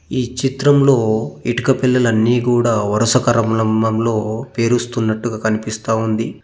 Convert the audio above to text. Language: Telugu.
ఈ చిత్రంలో ఇటుక పిల్లలన్నీ కూడా వరుసకరమ్రంమంలో పేరుస్తున్నట్టుగా కనిపిస్తా ఉంది.